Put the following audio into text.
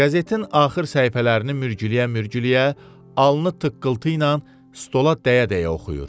Qəzetin axır səhifələrini mürgüləyə-mürgüləyə alnını tıqqıltı ilə stola dəyə-dəyə oxuyur.